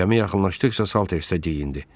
Cəmi yaxınlaşdıqca Salters də geyindi.